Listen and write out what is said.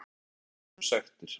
Þriðja tegundin er sektir.